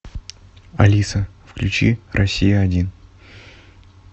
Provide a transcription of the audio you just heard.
алиса включи россия один